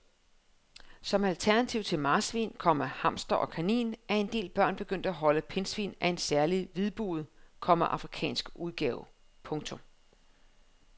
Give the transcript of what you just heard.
Som alternativ til marsvin, komma hamster og kanin er en del børn begyndt at holde pindsvin af en særlig hvidbuget, komma afrikansk udgave. punktum